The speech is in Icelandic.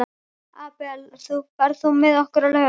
Abel, ferð þú með okkur á laugardaginn?